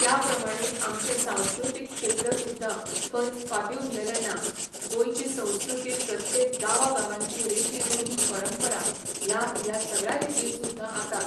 त्या प्रमाणें आमचें सांस्कृतीक क्षेत्र सुद्दां खंयच फाटीं उरलेलें ना गोंयची संस्कृती प्रत्येक गांवा गांवाची रिती रुढी परंपरा ह्या ह्या सगळ्यां रितीन सुद्दां आतां